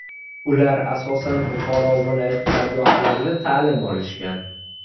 Ular asosan Buxoro viloyati dargohlarida ta’lim olishgan.